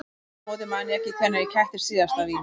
Aftur á móti man ég ekki hvenær ég kættist síðast af víni.